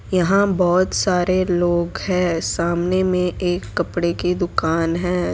यहां बहोत सारे लोग है सामने में एक कपड़े की दुकान है।